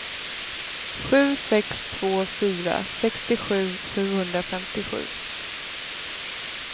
sju sex två fyra sextiosju sjuhundrafemtiosju